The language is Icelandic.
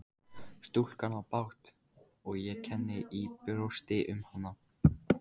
Stúlkan á bágt og ég kenni í brjósti um hana.